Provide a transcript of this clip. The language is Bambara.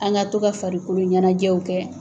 An ka to ka farikolo ɲɛnajɛw kɛ.